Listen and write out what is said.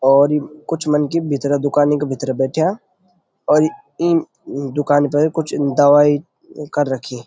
और इ कुछ मनखी भितरा दुकानी का भीतर बैठ्याँ और ई दुकान ते कुछ दवाई कर रखी।